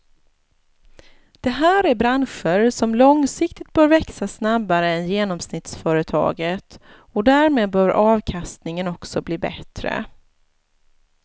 Det här är branscher som långsiktigt bör växa snabbare än genomsnittsföretaget och därmed bör avkastningen också bli bättre.